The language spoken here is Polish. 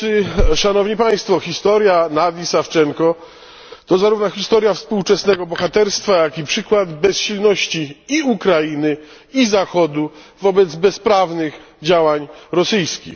Panie Przewodniczący! Szanowni Państwo! Historia Nadii Sawczenko to zarówno historia współczesnego bohaterstwa jak i przykład bezsilności i Ukrainy i Zachodu wobec bezprawnych działań rosyjskich.